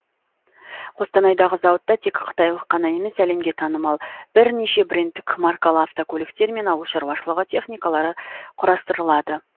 қостанайдағы зауытта тек қытайлық қана емес әлемге танымал бірнеше брендтік маркалы автокөліктер мен ауыл шаруашылығы техникалары құрастырылады